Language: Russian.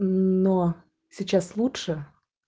мм но сейчас лучше